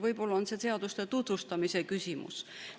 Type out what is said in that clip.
Võib-olla on see seaduste tutvustamise küsimus.